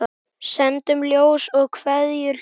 Sendum ljós og kveðjur hlýjar.